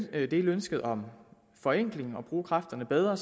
dele ønsket om forenkling og bruge kræfterne bedre